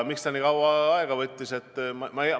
Miks see nii kaua aega võttis?